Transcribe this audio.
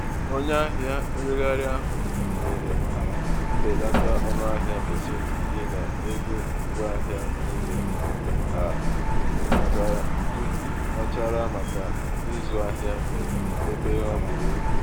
onye ahịa nregharị ahụ nyere mbelata ọnụahịa pasentị iri n'elu ngwaahịa niile ka jụtachara maka ịzụ ahịa ebe o buru ibu.